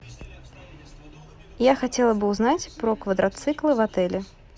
я хотела бы узнать про квадроциклы в отеле